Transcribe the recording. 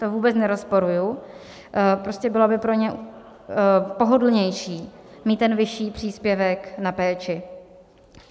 To vůbec nerozporuji, prostě bylo by pro ně pohodlnější mít ten vyšší příspěvek na péči.